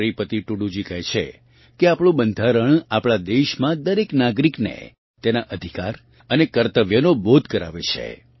શ્રીપતિ ટૂડૂજી કહે છે કે આપણું બંધારણ આપણાં દેશમાં દરેક નાગરિકને તેના અધિકાર અને કર્તવ્યનો બોધ કરાવે છે